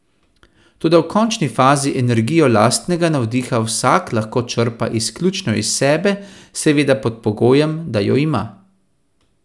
Toda v končni fazi energijo lastnega navdiha vsak lahko črpa izključno iz sebe, seveda pod pogojem, da jo ima.